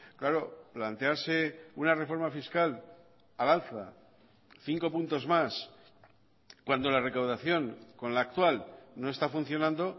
claro plantearse una reforma fiscal al alza cinco puntos más cuando la recaudación con la actual no está funcionando